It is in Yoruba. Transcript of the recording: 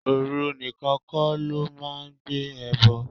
Ooru nìkan kó lọ máa ń gbé ẹbọ.